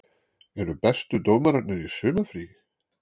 Eru bestu dómararnir í sumarfríi?